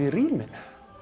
í ríminu